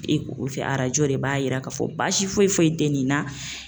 E junfɛ arajo de b'a jira k'a fɔ baasi foyi foyi tɛ nin na.